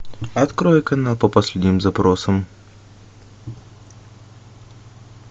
открой канал по последним запросам